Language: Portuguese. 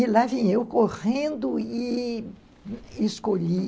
E lá vim eu correndo e e escolhi.